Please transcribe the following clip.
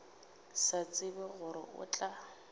sa tsebe gore o tla